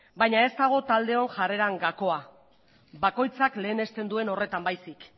baina ez dago taldeon jarreretan gakoa bakoitzak lehenesten duen horretan baizik